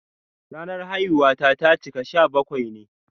Ranar haihuwata ta cika sha bakwai ne.